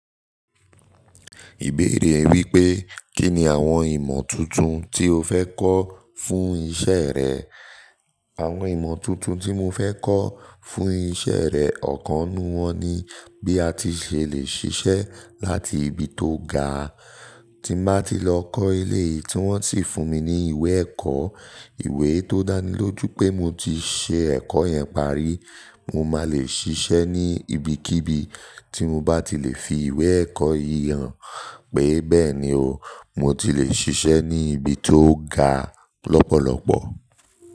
Ìbéèrè wípé, kí ni àwọn ìmọ̀ tuntun tí o fẹ́ kọ́ fún iṣẹ́ rẹ? Àwọn ìmọ̀ tuntun tí mo fẹ́ kọ́ fún iṣẹ́ rẹ, ọ̀kan nu wọn ni bí a ti ṣe le ṣiṣẹ́ láti ibi tó ga. Tí bá ti n lọ kọ́ eléyìí tí wọ́n sì fún mi ní ìwé ẹ̀kọ́, ìwé tó dáni lójú pé mo ti ṣe ẹ̀kọ́ yẹn parí. Mo máa le ṣiṣẹ́ ní ibikíbi tí mo bá ti le fi ìwé ẹ̀kọ́ yìí hàn pé bẹ́ẹ̀ ni o, mo ti le ṣiṣẹ́ ní ibi tó ga lọ́pọ̀lọpọ̀.